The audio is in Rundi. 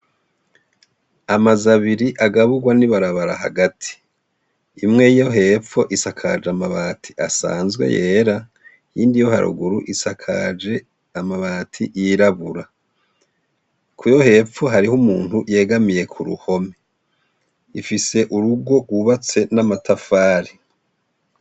Amazu abiri agaburwa n'ibarabara hagati, imwe yo hepfo isakajwe amabati asanzwe yera, iyindi yo haruguru isakaje amabati yirabura, kuyo hepfo hariho umuntu yegamiye k'uruhome, ifise urugo rwubatse n'amatafari.